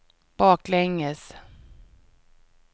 baklänges